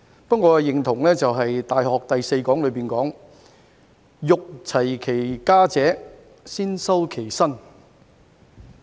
不過，我認同《大學》第四講所說，"欲齊其家者，先修其身"。